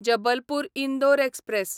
Jabalpur Indore express